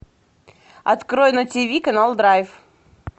открой на тиви канал драйв